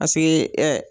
Paseke